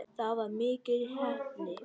Það var mikil heppni skrifar Helgi.